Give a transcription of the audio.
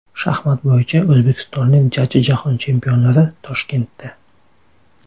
Shaxmat bo‘yicha o‘zbekistonlik jajji Jahon chempionlari Toshkentda .